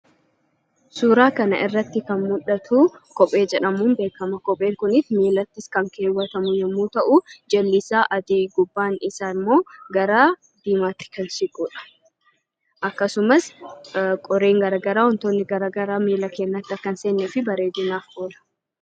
Suuraa kana irratti kan argamu kophee jedhamuun beekama. Kopheen kunis miilatti kan keewwatamu yemmuu ta'u, jalli isaa adii, gubbaan isaa immoo gara diimaatti kan siquudha. Akkasumas qoreen garaa garaa, wantootni garaa garaa miila keenyatti akka hin seennee fi bareedinaaf oola.